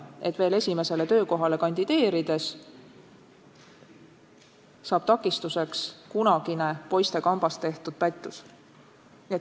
Esimesele töökohale kandideerides ei tohi neile takistuseks saada kunagine poistekambas tehtud pättus.